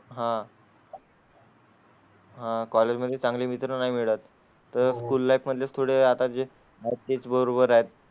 हा. हां, college मध्ये चांगले मित्र नाही मिळत तर school life मध्ये थोडे आता जे नक्कीच बरोबर आहे.